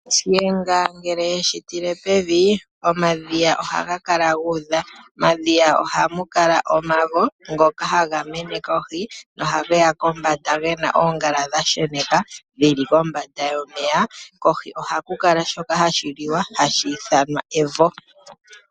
Shiyenga ngele yeshi tile pevi, omadhiya ohaga kala gu udha. Momadhiya ohamu kala omavo ngoka haga mene kohi, ohage ya kombanda ge na oongala dha sheneka dhili kombanda yomeya. Kohi ohaku kala shoka hashi liwa hashi ithanwa evo.